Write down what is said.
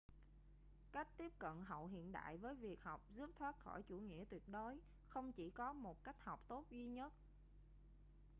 cách tiếp cận hậu hiện đại với việc học giúp thoát khỏi chủ nghĩa tuyệt đối không chỉ có một cách học tốt duy nhất